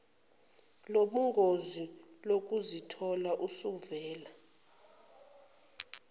lobungozi lokuzithola usuvela